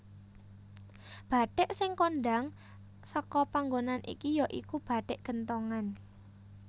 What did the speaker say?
Bathik sing kondhang seka panggonan iki ya iku bathik genthongan